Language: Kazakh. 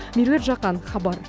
меруерт жақан хабар